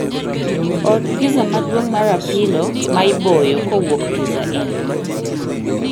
Or piza maduong' mar apilo ma iboyo kowuok pizza in